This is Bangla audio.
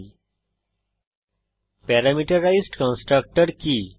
httpwwwspoken tutorialঅর্গ প্যারামিটারাইজড কন্সট্রকটর কি